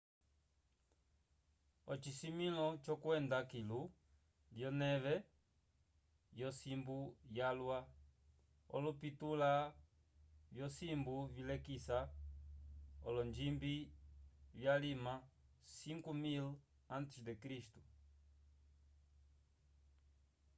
ocisimĩlo cokwenda kilu lyoneve yosimbu yalwa – olopintula vyosimbu vilekisa olonjimbi vyalima 5000 a. c. !